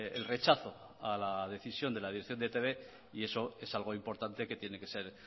el rechazo a la decisión de la dirección de e i te be y eso es algo importante que tiene que ser